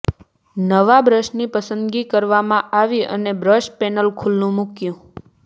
નવા બ્રશની પસંદગી કરવામાં આવી અને બ્રશ પેનલ ખુલ્લું મૂક્યું